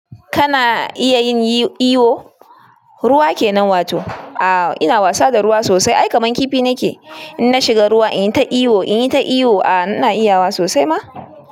Kana iya yin iyo? Ruwa ke nan wato. A'a ina wasa da ruwa sosai. Ai kaman kifi nike. In na shiga ruwa inyi ta iyo inyi ta iyo. A'a ina iyawa sosai ma.